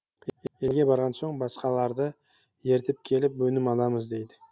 елге барған соң басқаларды ертіп келіп өнім аламыз дейді